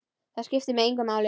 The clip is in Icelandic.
Það skiptir mig engu máli.